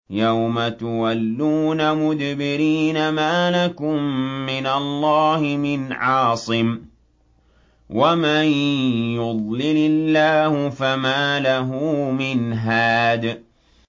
يَوْمَ تُوَلُّونَ مُدْبِرِينَ مَا لَكُم مِّنَ اللَّهِ مِنْ عَاصِمٍ ۗ وَمَن يُضْلِلِ اللَّهُ فَمَا لَهُ مِنْ هَادٍ